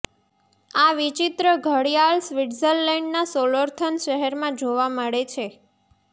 આ વિચિત્ર ઘડિયાળ સ્વિત્ઝરલેન્ડના સોલોથર્ન શહેરમાં જોવા મળે છે